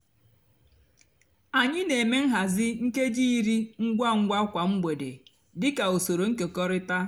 ányị nà-èmè nhazi nkéjí írí ngwa ngwa kwá mgbede dị kà usoro nkekọrịta.